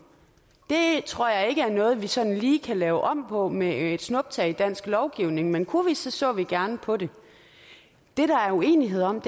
det tror jeg ikke er noget vi sådan lige kan lave om på med et snuptag i dansk lovgivning men kunne vi så så vi gerne på det det der er uenighed om